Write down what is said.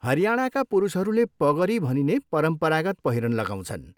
हरियाणाका पुरुषहरूले पगरी भनिने परम्परागत पहिरन लगाउँछन्।